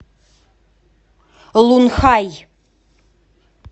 лунхай